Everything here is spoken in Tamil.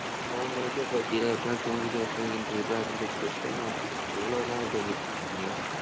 இன்னும் மூணு மணிக்கே போயிட்டியே எப்படினாலும் தூங்கிட்டே தூங்கி எந்திரிச்சிருப்ப அப்படின்னு சொல்லி கூப்பிட்டேன் இவ்வளவு நேரம் தூங்கிட்டு இருக்க நீ